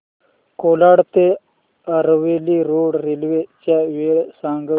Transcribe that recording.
कोलाड ते Aravali road railway च्या वेळा सांग